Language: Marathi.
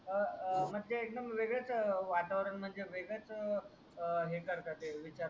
अं म्हणजे एकदूम वेगडेच वातावरण म्हणजे वेगडेच ही करतात विचार वगेरे